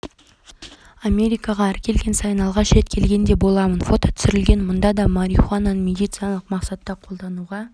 америкаға әр келген сайын алғаш рет келгендей боламын фото түсірілген мұнда да марихуананы медициналық мақсатта қолдануға